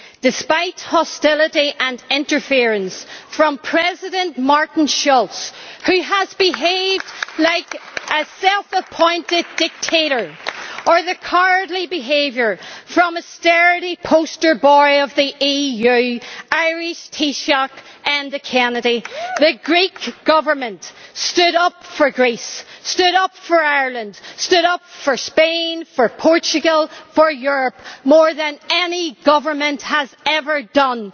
Despite hostility and interference from President Martin Schulz, who has behaved like a self appointed dictator, or the cowardly behaviour from a sturdy poster boy of the EU, Irish Taoiseach Enda Kenny, the Greek Government has stood up for Greece, stood up for Ireland, stood up for Spain, for Portugal for Europe, more than any government has ever done.